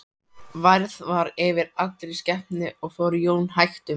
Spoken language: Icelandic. Værð var yfir allri skepnu og fór Jón hægt um.